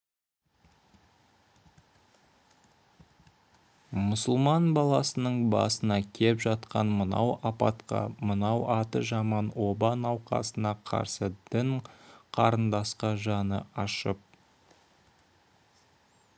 мұсылман баласының басына кеп жатқан мынау апатқа мынау аты жаман оба науқасына қарсы дін қарындасқа жаны ашып